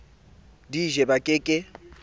di je ba ke ke